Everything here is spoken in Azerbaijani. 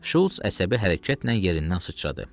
Şults əsəbi hərəkətlə yerindən sıçradı.